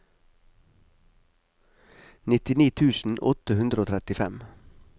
nittini tusen åtte hundre og trettifem